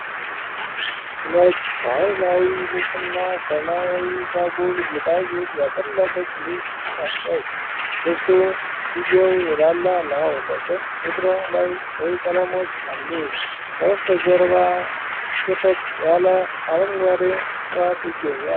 ነጭ ባህላዊ ልብስና ሰማያዊ ዛጎል ጌጣጌጥ ያጠለቀች ልጅ ቆማለች። ልብሱ እጅጌው የላላ ነው፤ በቀኝ እግሯ ላይ ቀይ ቀለሞች አሉ። ከበስተጀርባ ጥቅጥቅ ያሉ አረንጓዴ ዕፅዋት ይገኛሉ።